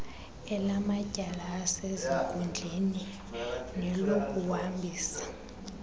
elamatyala asezinkundleni nelokuhambisa